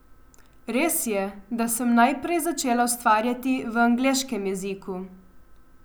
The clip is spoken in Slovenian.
Res je, da sem najprej začela ustvarjati v angleškem jeziku.